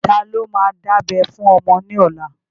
Ta ló ma dábẹ́ fún ọmọ ní ọlá?